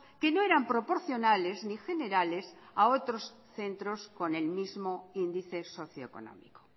que no eran proporcionales ni generales a otros centros con el mismo índice socioeconómico